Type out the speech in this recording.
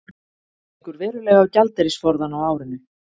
Gengur verulega á gjaldeyrisforðann á árinu